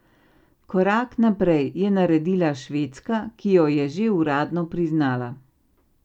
Korak najprej je naredila Švedska, ki jo je že uradno priznala.